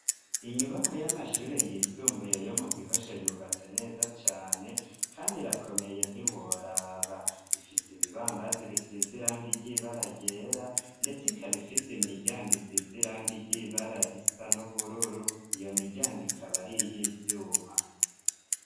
Inyubakwa y'amashuri yisumbuye yo mu Gihosha, yubatse neza cane kandi irakomeye ntiworaba, ifise ibibambazi bisize irangi ry'ibara ryera, ndetse ikaba ifise imiryango isize irangi ry'ibara risa n'ubururu. Iyo miryango ikaba ari iy'ivyuma.